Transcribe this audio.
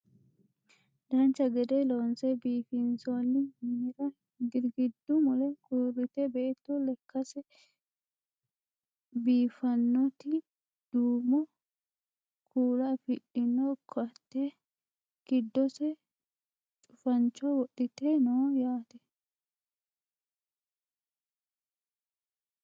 dancha gede loonse biifinsoonni minira girgiddu mule uurrite beetto lekkase biiffanoti duumo kuula afidhino ko"atte giddose cufancho wodhite no yaate